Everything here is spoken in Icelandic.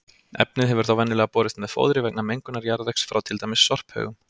Efnið hefur þá venjulega borist með fóðri vegna mengunar jarðvegs frá til dæmis sorphaugum.